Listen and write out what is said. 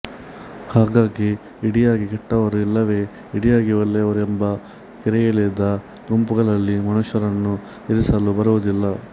ಹಾಗಾಗಿ ಇಡಿಯಾಗಿ ಕೆಟ್ಟವರು ಇಲ್ಲವೇ ಇಡಿಯಾಗಿ ಒಳ್ಳೆಯವರು ಎಂಬ ಗೆರೆಯೆಳೆದ ಗುಂಪುಗಳಲ್ಲಿ ಮನುಷ್ಯರನ್ನು ಇರಿಸಲು ಬರುವುದಿಲ್ಲ